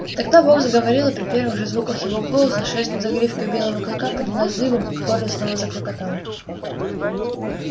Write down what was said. тогда бог заговорил и при первых же звуках его голоса шерсть на загривке у белого клыка поднялась дыбом в горле снова заклокотало